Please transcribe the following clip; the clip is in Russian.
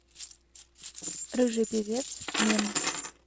рыжий певец мем